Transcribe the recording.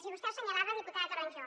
i vostè ho assenyalava diputada toronjo